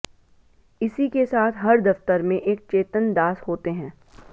इसी के साथ हर दफ्तर में एक चेतनदास होते हैं